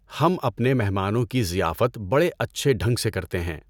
ہم اپںنے مہمانوں کی ضیافت بڑے اچھے ڈھنگ سے کرتے ہیں۔